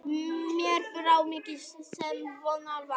Mér brá mikið sem von var.